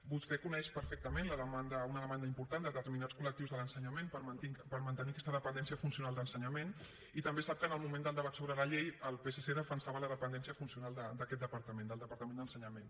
vostè coneix perfectament la demanda una demanda important de determinats col·lectius de l’ensenyament per mantenir aquesta dependència funcional d’ensenyament i també sap que en el moment del debat sobre la llei el psc defensava la dependència funcional d’aquest departament del departament d’ensenyament